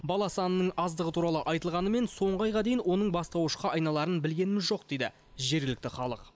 бала санының аздығы туралы айтылғанымен соңғы айға дейін оның бастауышқа айналарын білгеніміз жоқ дейді жергілікті халық